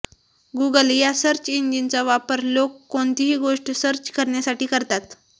Google या search इंजिनचा वापर लोक कोणतीही गोष्ट सर्च करण्यासाठी करतात